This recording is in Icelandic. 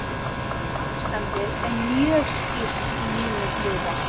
Ástandið er mjög skýrt í mínum huga.